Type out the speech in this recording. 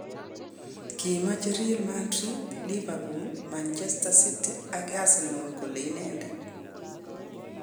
Kimeche Real Madrid, Liverpool, Manchester City ak Arsenal koal inendet